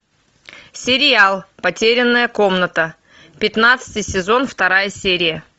сериал потерянная комната пятнадцатый сезон вторая серия